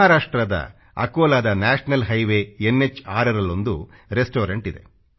ಮಹಾರಾಷ್ಟ್ರದ ಅಕೋಲಾದ national highway 6ರಲ್ಲೊಂದು ರೆಸ್ಟಾರೆಂಟ್ ಇದೆ